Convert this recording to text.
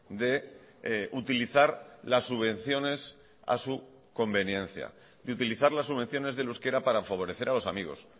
de utilizar las subvenciones a su conveniencia de utilizar las subvenciones del euskera para favorecer a los amigos